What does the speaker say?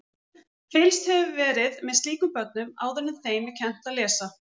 Fylgst hefur verið með slíkum börnum áður en þeim er kennt að lesa.